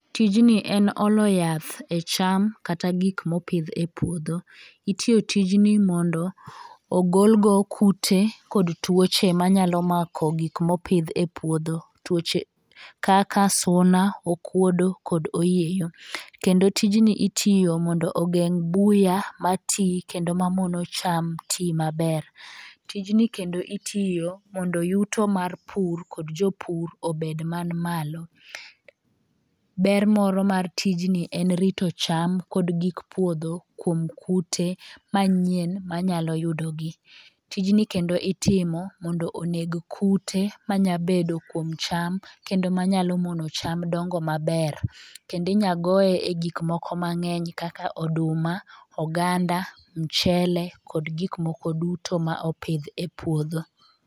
Tijni en olo yath e cham kata gik mopidh e puodho. Itiyo tijni mondo ogol go kute kod tuoche manyalo mako gik mopidh e puodho .Tuoche kaka suna, okuodo kod oyieyo kendo tijni itiiyo mondo ogeng' buya matii kendo mamono cham tii maber. Tijni kendo itiyo mondo yuto mar pur kod jopur obed man malo. Ber moro mar tijni en rito cham kod gik puodho kuom kute manyien manyalo yudo gi. Tijni kendo itimo mondo neg kute manya bedo kuom cham kendo manyalo mondo cham dongo maber. Kendi nya goye e gik moko mang'eny kaka oduma, oganda ,mchele kod gik moko duto ma opidh e puodho.